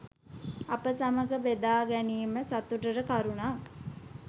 අප සමඟ බෙදා ගැනීම සතුටට කරුණක්.